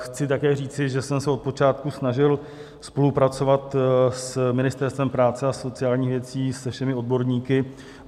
Chci také říci, že jsem se od počátku snažil spolupracovat s Ministerstvem práce a sociálních věcí, se všemi odborníky.